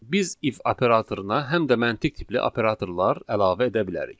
Biz if operatoruna həm də məntiq tipli operatorlar əlavə edə bilərik.